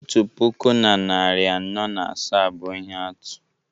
otu puku na narị anọ na asaa bụ ihe atụ